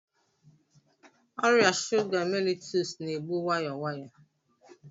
Ọrịa shuga mellitus na-egbu nwayọọ nwayọọ.